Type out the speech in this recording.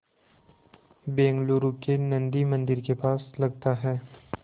बेंगलूरू के नन्दी मंदिर के पास लगता है